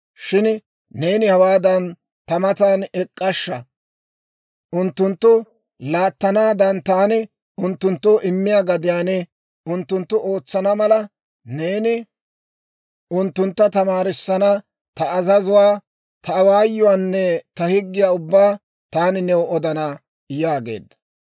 Shin neeni hawaan ta matan ek'k'ashsha; unttunttu laattanaadan taani unttunttoo immiyaa gadiyaan unttunttu ootsana mala, neeni unttuntta tamaarissana ta azazuwaa, ta awaayuwaanne ta higgiyaa ubbaa taani new odana› yaageedda.